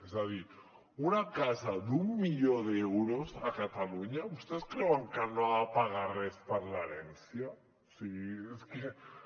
és a dir una casa d’un milió d’euros a catalunya vostès creuen que no ha de pagar res per l’herència o sigui és que